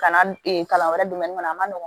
Kalan kalan wɛrɛ kɔnɔ a man nɔgɔn